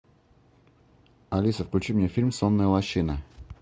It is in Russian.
алиса включи мне фильм сонная лощина